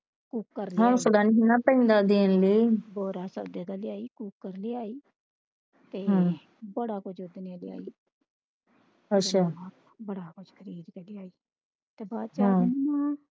ਹੌਂਸਲਾ ਨਹੀਂ ਨਾ ਪੈਂਦਾ ਦੇਣ ਲਈ cooker ਲਿਆਈ ਤੇ ਬੜਾ ਕੁਛ ਲਿਆਈ ਅੱਛਾ ਤੇ ਬੜਾ ਕੁਛ ਖਰੀਦ ਕੇ ਲਿਆਈ ਬਾਅਦ ਚ